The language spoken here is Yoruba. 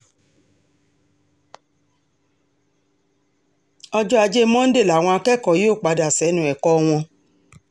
ọjọ́ ajé monde làwọn akẹ́kọ̀ọ́ yóò padà sẹ́nu ẹ̀kọ́ wọn